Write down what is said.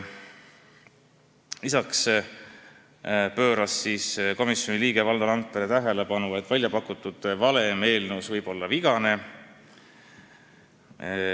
Lisaks pööras komisjoni liige Valdo Randpere tähelepanu, et eelnõus välja pakutud valem võib olla vigane.